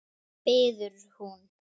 biður hún.